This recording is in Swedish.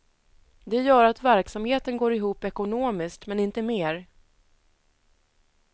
Det gör att verksamheten går ihop ekonomiskt men inte mer.